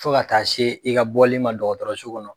Fo ka taa se i ka bɔli ma dɔgɔtɔrɔso kɔnɔ.